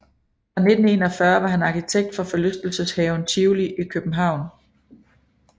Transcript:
Fra 1941 var han arkitekt for forlystelseshaven Tivoli i København